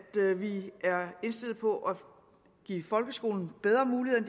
vi er indstillet på at give folkeskolen bedre muligheder